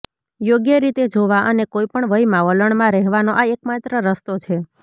યોગ્ય રીતે જોવા અને કોઈપણ વયમાં વલણમાં રહેવાનો આ એકમાત્ર રસ્તો છે